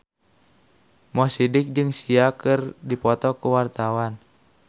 Mo Sidik jeung Sia keur dipoto ku wartawan